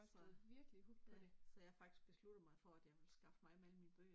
Så, ja, så jeg har faktisk besluttet mig for at jeg vil skaffe mig af med alle mine bøger